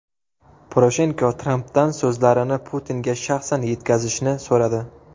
Poroshenko Trampdan so‘zlarini Putinga shaxsan yetkazishni so‘radi .